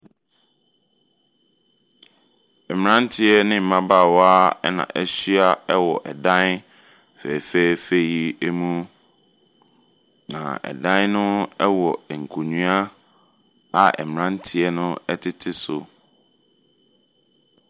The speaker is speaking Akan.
Mmeranteɛ ne mmabaawa na wɔahyia wɔ ɛdan fɛfɛɛfɛ yi mu, na ɛdan yi mu wɔ nkonnwa a mmeranteɛ no tete so.